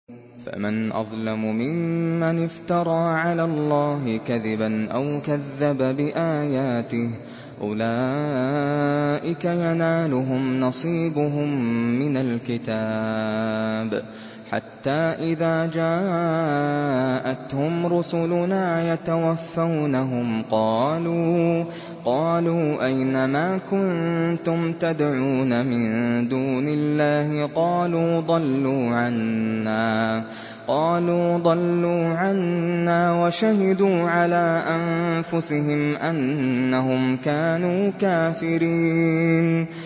فَمَنْ أَظْلَمُ مِمَّنِ افْتَرَىٰ عَلَى اللَّهِ كَذِبًا أَوْ كَذَّبَ بِآيَاتِهِ ۚ أُولَٰئِكَ يَنَالُهُمْ نَصِيبُهُم مِّنَ الْكِتَابِ ۖ حَتَّىٰ إِذَا جَاءَتْهُمْ رُسُلُنَا يَتَوَفَّوْنَهُمْ قَالُوا أَيْنَ مَا كُنتُمْ تَدْعُونَ مِن دُونِ اللَّهِ ۖ قَالُوا ضَلُّوا عَنَّا وَشَهِدُوا عَلَىٰ أَنفُسِهِمْ أَنَّهُمْ كَانُوا كَافِرِينَ